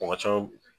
Mɔgɔ caman